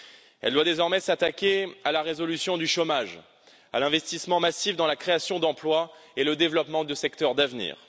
Elle doit désormais s'attaquer à la résolution du chômage, à l'investissement massif dans la création d'emplois et au développement de secteurs d'avenir.